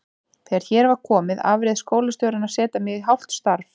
Þegar hér var komið afréð skólastjórnin að setja mig í hálft starf.